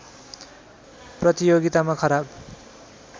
प्रतियोगितामा खराब